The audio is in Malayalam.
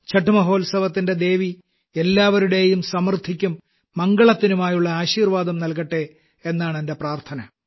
ഛഠ് മഹോത്സവത്തിന്റെ ദേവി എല്ലാവരുടെയും സമൃദ്ധിക്കും മംഗളത്തിനുമായുള്ള ആശീർവാദം നല്കട്ടെ എന്നാണെന്റെ പ്രാർത്ഥന